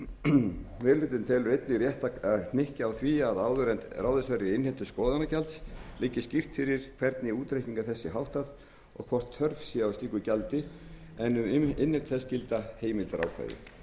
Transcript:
hlutinn telur einnig rétt að hnykkja á því að áður en ráðist verður í innheimtu skoðunargjalds liggi skýrt fyrir hvernig útreikningi þess sé háttað og hvort þörf sé á slíku gjaldi en um innheimtu þess gildir heimildarákvæði meiri